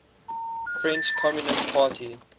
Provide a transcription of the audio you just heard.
french communist party